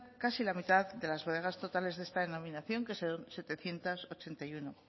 casi la mitad de las bodegas totales de esta denominación que son setecientos ochenta y uno